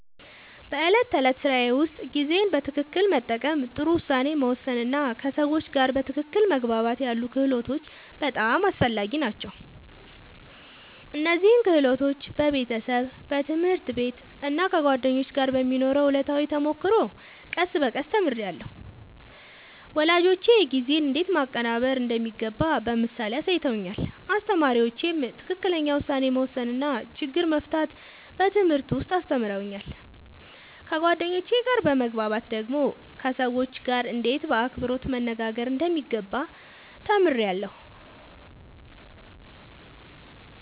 በዕለት ተዕለት ሥራዬ ውስጥ ጊዜን በትክክል መጠቀም፣ ጥሩ ውሳኔ መወሰን እና ከሰዎች ጋር በትክክል መግባባት ያሉ ክህሎቶች በጣም አስፈላጊ ናቸው። እነዚህን ክህሎቶች በቤተሰብ፣ በትምህርት ቤት እና ከጓደኞች ጋር በሚኖረው ዕለታዊ ተሞክሮ ቀስ በቀስ ተምሬያለሁ። ወላጆቼ ጊዜን እንዴት ማቀናበር እንደሚገባ በምሳሌ አሳይተውኛል፣ አስተማሪዎቼም ትክክለኛ ውሳኔ መወሰን እና ችግር መፍታት በትምህርት ውስጥ አስተምረውኛል። ከጓደኞቼ ጋር በመግባባት ደግሞ ከሰዎች ጋርእንዴት በአክብሮት መነጋገር እንደሚገባ ተምሬያለሁ።